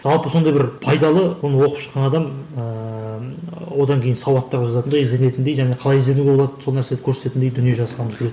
жалпы сондай бір пайдалы оны оқып шыққан адам ыыы одан кейін сауатты қылып жазатындай ізденетіндей және қалай ізденуге болады сол нәрсені көрсететіндей дүние жазғым келеді